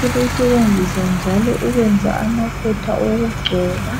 sebeyisebenzisa njalo ukwenza amafutha okugcoba.